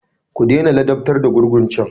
Ku dena ladabtar da gurgun can!